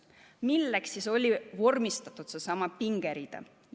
Milleks siis vormistati seesama pingerida?